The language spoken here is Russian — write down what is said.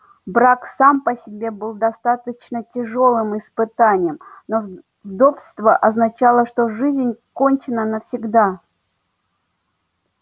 брак сам по себе был достаточно тяжёлым испытанием но вдовство означало что жизнь кончена навсегда